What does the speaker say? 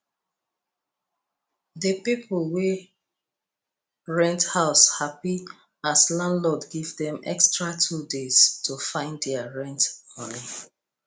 the people wey rent house happy as landlord give dem extra 2 days to find their rent money